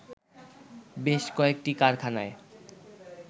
বেশ কয়েকটি কারখানায়